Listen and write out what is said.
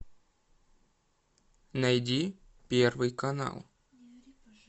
найди первый канал